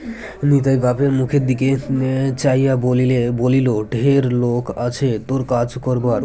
নিতাই বাপের মুখের দিকে আ চাইয়া বলিলে বলিল ঢের লোক আছে তুর কাজ করবার